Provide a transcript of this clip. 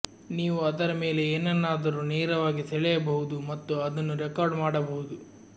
ನೀವು ಅದರ ಮೇಲೆ ಏನನ್ನಾದರೂ ನೇರವಾಗಿ ಸೆಳೆಯಬಹುದು ಮತ್ತು ಅದನ್ನು ರೆಕಾರ್ಡ್ ಮಾಡಬಹುದು